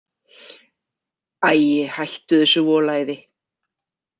Æ, hættu þessu volæði.